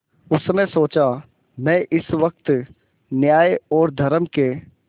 उसने सोचा मैं इस वक्त न्याय और धर्म के